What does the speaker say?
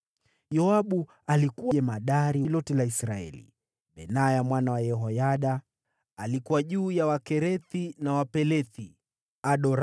Yoabu alikuwa jemadari wa jeshi lote la Israeli; Benaya mwana wa Yehoyada alikuwa juu ya Wakerethi na Wapelethi;